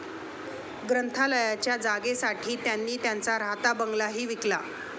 ग्रंथालयाच्या जागेसाठी त्यांनी त्यांचा राहता बंगलाही विकला.